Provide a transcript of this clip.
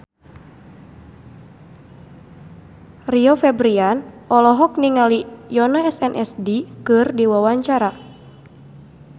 Rio Febrian olohok ningali Yoona SNSD keur diwawancara